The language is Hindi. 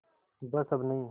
बस अब नहीं